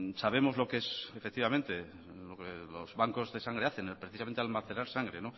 sabemos lo que es efectivamente lo que los bancos de sangre hacen precisamente almacenar sangre